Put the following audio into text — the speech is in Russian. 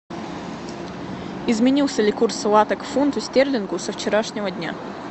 изменился ли курс лата к фунту стерлингу со вчерашнего дня